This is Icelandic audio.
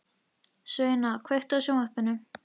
Sveina, kveiktu á sjónvarpinu.